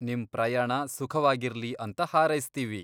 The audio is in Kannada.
ನಿಮ್ ಪ್ರಯಾಣ ಸುಖವಾಗಿರ್ಲಿ ಅಂತ ಹಾರೈಸ್ತೀವಿ.